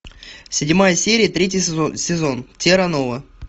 седьмая серия третий сезон терра нова